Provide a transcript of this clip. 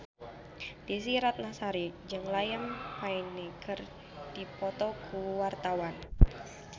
Desy Ratnasari jeung Liam Payne keur dipoto ku wartawan